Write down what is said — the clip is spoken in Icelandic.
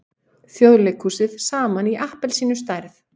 Þjóðleikhúsið saman í appelsínustærð.